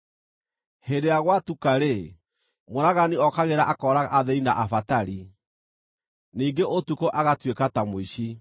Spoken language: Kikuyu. Hĩndĩ ĩrĩa gwatuka-rĩ, mũũragani ookagĩra akooraga athĩĩni na abatari; ningĩ ũtukũ agatuĩka ta mũici.